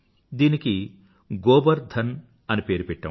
దీనికి గోబర్ ధన్ అని పేరు పేటాము